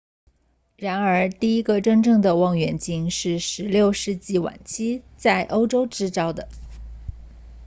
然而第一个真正的望远镜是16世纪晚期在欧洲制造的